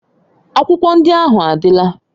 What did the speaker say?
Akwụkwọ ndị ahụ adịla.